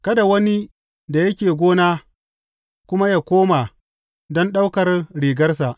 Kada wani da yake gona kuma yă komo don ɗaukar rigarsa.